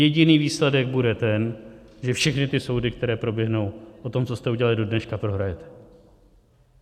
Jediný výsledek bude ten, že všechny ty soudy, které proběhnou po tom, co jste udělali do dneška, prohrajete.